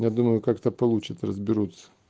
я думаю как-то получит разберутся